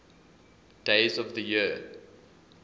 days of the year